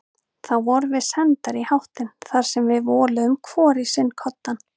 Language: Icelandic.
Þá vorum við sendar í háttinn þar sem við voluðum hvor í sinn koddann.